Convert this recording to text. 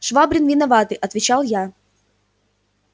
швабрин виноватый отвечал я